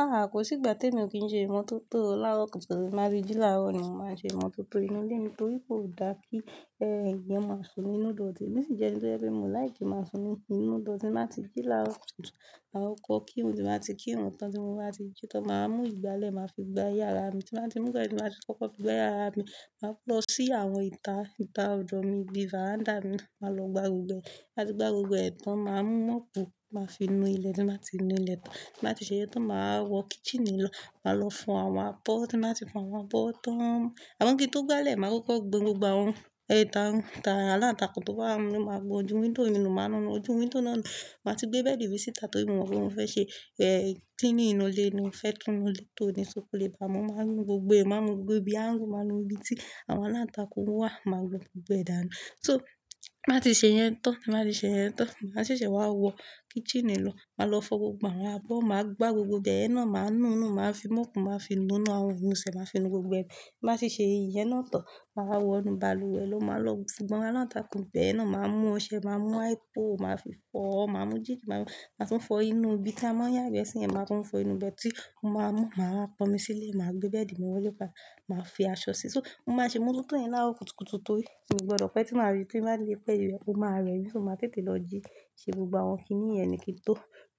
Ah, kò sí ìgbà tí èmi ò kí n ṣe ìmọ́tótó láarọ̀ kùtùkùtù. Ti n bá tí jí láarọ̀ ni mo máa ń ṣe ìmọ́tótó inú ilé mi torí kò dá kí ẹ́eyan máa sún nínú idòti. Emí sì jẹ́ ẹni tó jẹ́ pe mio like ki máa sún nínú odour tí n bá ti jí láarọ̀ kùtùkùtù. Ma kọko kirun, tí n bà ti kírun tan tí mo máa ti jí tán. Màá mú ìgbálẹ̀, màá fi gbá yàrá mi. Tí n ba ti mú igbale, ti mo ba fi koko gbá yàrá mi. Màá lọ sí àwọn ìta, ìta ọ̀dọ̀ mi ibí fàrándá mi. Màá lọ gbá gbogbo ẹ̀. Tí n ba ti gbá gbogbo ẹ̀ tán, màá mú mọ́pù màá fi nu ilẹ̀ tí n ba ti nu ilẹ̀ tán. Tí n ba ti ṣe yẹn tán, màá wọ kísíìnì lọ. Màá lọ fọ àwọn abó, ti n bá ti fọ àwọn abó tán. Àmọ kí n tó gbálẹ̀, màá kọ́kọ́ gbon gbogbo àwọn ètà àwọn aláǹtakùn tó bá wà nínú ile, màá gbọn ojú wíńdòw mi nú, màá nu ojú wíńdòw náà nù. Màá ti gbé bẹ́ẹ̀dì mi síta torí mo mọ̀ pé mo fẹ́ ṣe cleaning inú ilé ni mo fẹ́ tun inú ilé tó. So kò lè bá mọ̀. Màá nu gbogbo ẹ̀, màá nu gbogbo ibí angle, màá nu ibi tí àwọn aláǹtakùn wà. Màá nu gbogbo ẹ̀ dáadaa. So tí n ba ti ṣe yẹn tán, tí n bá ti ṣe yẹn tán, màá ṣẹ̀ṣẹ̀ wá wọ kísíìnì lọ. Màá lọ fọ gbogbo àwọn àbó, màá gbá gbogbo ibẹ́yẹ̀n náà, màá nu inú, màá fi mọ́pù màá fi nu inú àwọn inú ìṣẹ́, màá fi nu gbogbo ẹ̀. Tí n ba ti ṣẹ́ iyen náà tán, màá wọ inú balùwẹ̀ lọ, màá lọ gbon aláǹtakùn ibẹ́yẹ̀n náà. Màá mú ọṣẹ, màá mú hypo, màá fi fọ, màá mú jík, màá tún fọ inú ibi tí a máa ń yàgbẹ́ sí yẹn. Màá tún fọ inú ibẹ̀ tí mo máa mú, màá wa ponmi sílẹ̀, màá gbé bẹ́ẹ̀dì mi wọlé padà, màá fi aṣọ sí i. So mo máa ṣe imototo yen láarọ̀ kùtùkùtù torí n ó gbọdọ̀ pẹ́ tí màá rí pé màá le pẹ́, o máa rẹ̀ mi. So máa tètè lọ jí ṣe gbogbo àwọn kíní yẹn ni kí n tó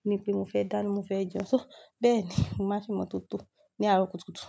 ni pé mo fẹ́ dáná mo fẹ́ jẹun. So bẹ́ẹ̀ni mo màá n se'mọ́tótó ní àárọ̀ kùtùkùtù.